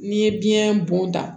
N'i ye biyɛn bɔnta